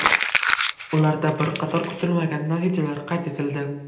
Ularda bir qator kutilmagan natijalar qayd etildi.